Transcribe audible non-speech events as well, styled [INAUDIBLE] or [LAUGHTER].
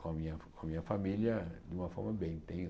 com a minha com a minha família de uma forma bem. [UNINTELLIGIBLE]